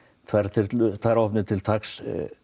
tvær þyrlur tvær áhafnir til taks